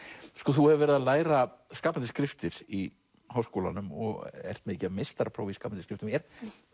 þú hefur verið að læra skapandi skriftir í Háskólanum og ert með meistarapróf í skapandi skriftum er